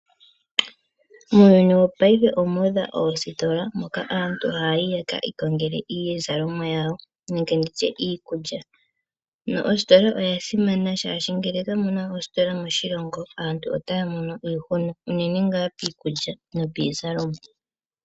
Muuyuni wongashingeyi omuudha oositola moka aantu haya yi ye kiikongele iizalomwa yawo nenge ndi tye iikulya. Oositola odha simana oshoka ngele kamuna oositola moshilongo aantu otaya mono iihuna unene ngaa piikulya nopiizalomwa.